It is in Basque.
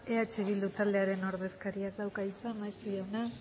eh bildu taldearen ordezkariak dauka hitza maeztu jauna